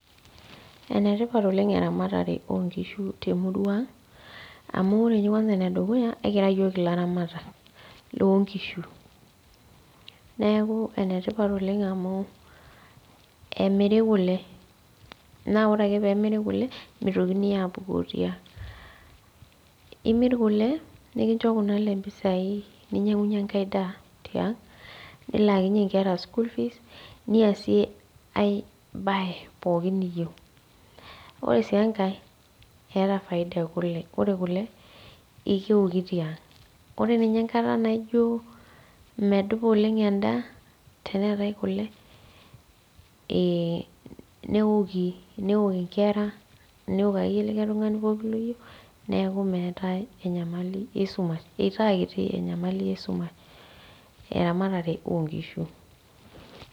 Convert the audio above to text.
Enetipat oleng eramatare onkishu temurua ang amu ore inye kwanza enedukuya ekira iyiok ilaramatak lonkishu neeku enetipat oleng amu emiri kule naa ore ake pemiri kule mitokini apukoo tiang imirr kule nikincho kuna ale impisai ninyiang'unyie enkae daa tiang nilakinyie inkera school fees niasie ae baye pookin niyieu ore sii enkae eeta faida ekule ore kule ekeoki tiang ore ninye enkata naijo medupa oleng endaa teneetae kule eh newoki newok inkera newok akeyie likae pooki tung'ani loyieu neeku meetae enyamali esumash eitaa kiti enyamali esumash eramatare onkishu.